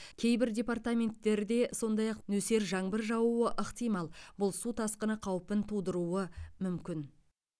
кейбір департаменттерде сондай ақ нөсер жаңбыр жаууы ықтимал бұл су тасқыны қаупін тудыруы мүмкін